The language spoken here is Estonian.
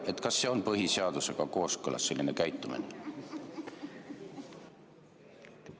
Kas selline käitumine on põhiseadusega kooskõlas?